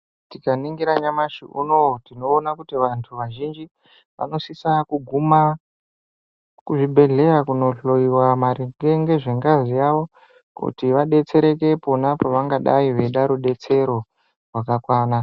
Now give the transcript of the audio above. Tikaningira nyamashi unowu tinoona kuti vantu vazhinji vanosise kugume kuzvibhedhleya kunohloyiwa maringe nezve ngazi yawo kuti vadetsereke pona pavangadai veida rudetsero rwakakwana .